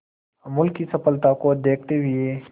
अमूल की सफलता को देखते हुए